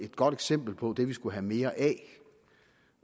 godt eksempel på det vi skulle have mere af